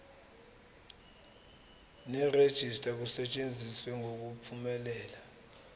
nerejista kusetshenziswe ngokuphumelela